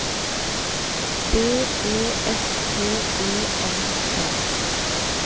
B E S T E M T